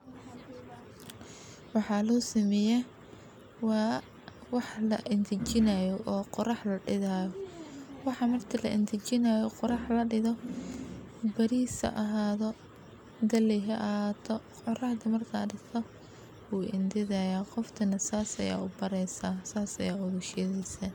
Waxaa loo sameeyay waa wax la intijiinaayo oo qurox la dhigo. Waxa marka la intajiino qurox la dhido bariisa ahaado, galeyeh ahaato, qurox dhibaatad ahaato uu intidaaya, qof tan saas ah u baarisaa, saas ah ugu shidisah.